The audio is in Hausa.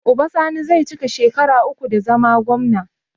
Uba sani zai cika shekara uku da zama gwamna